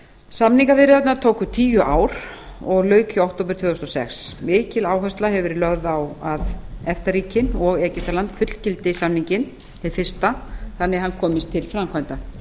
samningaviðræðurnar tóku tíu ár og lauk í október tvö þúsund og sex mikil áhersla hefur verið lögð á að efta ríkin og egyptaland fullgildi samninginn hið fyrsta svo hann komist til framkvæmda